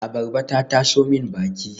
Abarba ta taso min baki